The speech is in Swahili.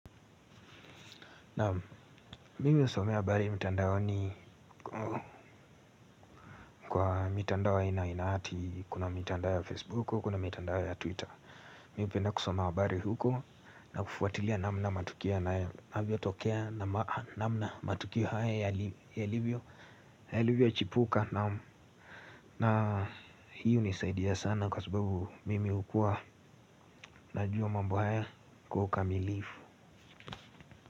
Naam mimi husomea habari mtandaoni kwa mitandao inaati kuna mitandao ya Facebook kuna mitandao ya Twitter. Mimi hupenda kusoma habari huko na kufuatilia namna matukio na avyo tokea na namna matukia haya yalivyo yalivyo chipuka na hiyo hunisaidia sana kwa subabu mimi hukua na jua mambo haya kwa ukamilifu.